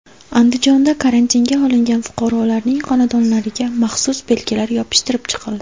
Andijonda karantinga olingan fuqarolarning xonadonlariga maxsus belgilar yopishtirib chiqildi.